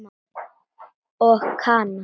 Og Kana?